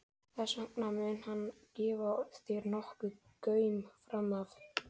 Þess vegna mun hann gefa þér nokkurn gaum framan af.